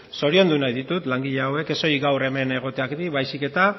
zoriondu nahi ditut langile hauek ez solik gaur hemen egoteagatik baizik eta